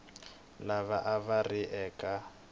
lava a va ri eka